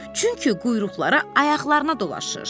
Çünki quyruqları ayaqlarına dolaşır.